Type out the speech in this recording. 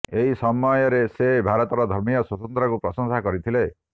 ଏହି ସମୟରେ ସେ ଭାରତର ଧର୍ମୀୟ ସ୍ବତନ୍ତ୍ରତାକୁ ପ୍ରଶଂସା କରିଥିଲେ